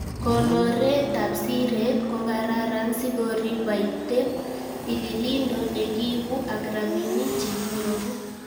Konoreetab siret ko kararan sikorib baiteb tililindo nekiibu ak rabinik che kinyoru.